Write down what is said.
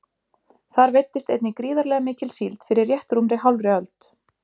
Þar veiddist einnig gríðarlega mikil síld fyrir rétt rúmri hálfri öld.